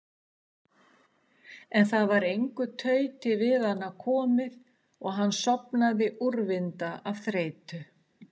En það varð engu tauti við hana komið og hann sofnaði úrvinda af þreytu.